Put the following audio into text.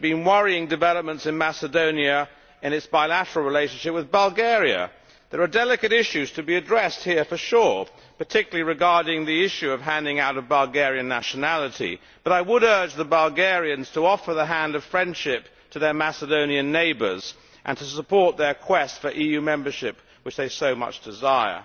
been worrying developments recently in Macedonia in its bilateral relationship with Bulgaria. There are delicate issues to be addressed here for sure, particularly regarding the issue of the handing out of Bulgarian nationality, but I would urge the Bulgarians to offer the hand of friendship to their Macedonian neighbours and to support their quest for EU membership which they so much desire.